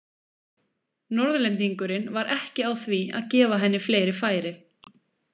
Norðlendingurinn var ekki á því að gefa henni fleiri færi.